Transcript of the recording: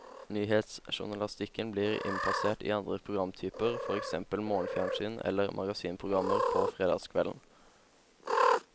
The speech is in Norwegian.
Nyhetsjournalistikken blir innpasset i andre programtyper, for eksempel morgenfjernsyn eller magasinprogrammer på fredagskvelden.